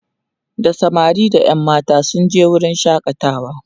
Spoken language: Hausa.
da samari da ƴan matan sun je wurin shakatawa